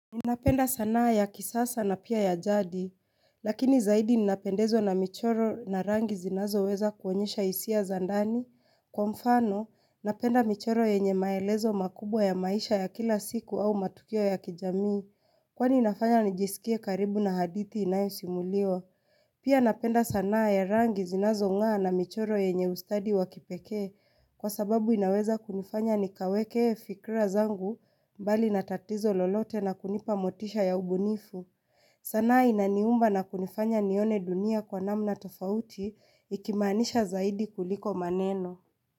Ninapenda sanaa ya kisasa na pia ya jadi. Lakini zaidi ninapendezwa na michoro na rangi zinazoweza kuonyesha hisia za ndani. Kwa mfano, napenda michoro yenye maelezo makubwa ya maisha ya kila siku au matukio ya kijamii. Kwani inafanya nijisikie karibu na hadithi inayosimuliwa. Pia napenda sanaa ya rangi zinazong'aa na michoro yenye ustadi wa kipekee. Kwa sababu inaweza kunifanya nikaweke fikira zangu mbali na tatizo lolote na kunipa motisha ya ubunifu. Sanaa inaniumba na kunifanya nione dunia kwa namna tofauti ikimaanisha zaidi kuliko maneno.